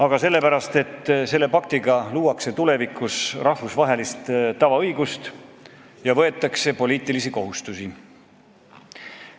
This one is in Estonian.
Aga sellepärast, et selle paktiga luuakse tulevikus rahvusvahelist tavaõigust ja võetakse poliitilisi kohustusi.